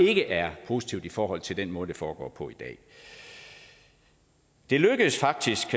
ikke er positivt i forhold til den måde det foregår på i dag det lykkedes faktisk